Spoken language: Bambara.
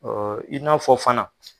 Ee i n'a fɔ fana.